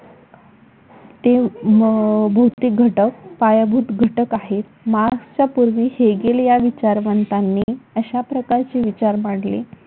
ते भौतिक घटक पायाभूत घटक आहेत. मार्क्सच्या पूर्वी हेगेलि या विचारवंतांनी अशा प्रकारचे विचार मांडले.